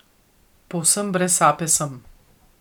Povsem brez sape sem.